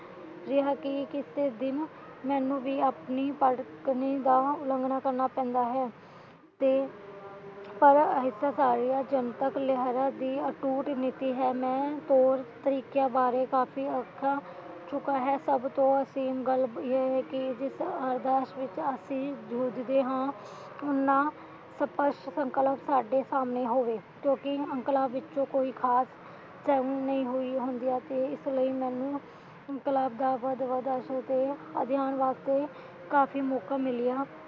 ਸਪਸ਼ਟ ਸੰਕਲਪ ਸੱਦਦੇ ਸਾਹਮਣੇ ਹੋਵੇ ਕਿਉਕਿ ਇਨਕਲਾਬ ਵਿਚ ਕੋਈ ਖਾਸ ਜੰਗ ਨਹੀਂ ਹੋਈਆਂ ਹੁੰਦੀਆਂ ਸੀ ਇਸ ਲਈ ਮੈਨੂੰ ਇਨਕਲਾਬ ਦਾ ਵੱਧ ਵੱਧ ਅਧਿਅਨ ਵਾਸਤੇ ਕਾਫ਼ੀ ਮੌਕਾ ਮਿਲਿਆ